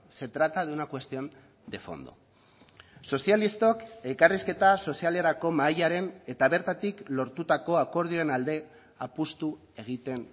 se trata de una cuestión de fondo sozialistok elkarrizketa sozialerako mahaiaren eta bertatik lortutako akordioen alde apustu egiten